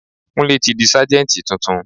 Kúnlé tí di Sájẹ́ntì tuntun.